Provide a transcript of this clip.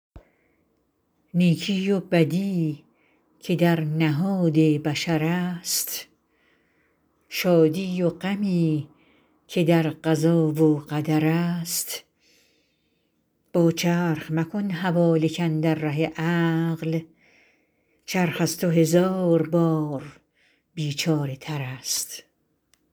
نیکی و بدی که در نهاد بشر است شادی و غمی که در قضا و قدر است با چرخ مکن حواله کاندر ره عقل چرخ از تو هزار بار بیچاره تر است